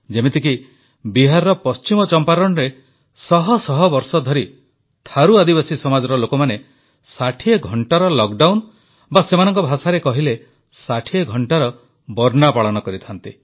ଯେମିତିକି ବିହାରର ପଶ୍ଚିମ ଚମ୍ପାରଣରେ ଶହ ଶହ ବର୍ଷଧରି ଥାରୁ ଆଦିବାସୀ ସମାଜର ଲୋକମାନେ 60 ଘଣ୍ଟାର ଲକଡାଉନ ବା ସେମାନଙ୍କ ଭାଷାରେ କହିଲେ 60 ଘଣ୍ଟାର ବର୍ନା ପାଳନ କରିଥାନ୍ତି